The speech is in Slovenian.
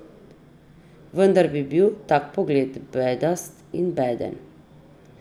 Vendar bi bil tak pogled bedast in beden.